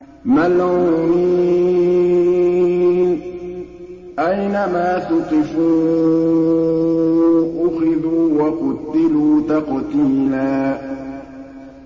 مَّلْعُونِينَ ۖ أَيْنَمَا ثُقِفُوا أُخِذُوا وَقُتِّلُوا تَقْتِيلًا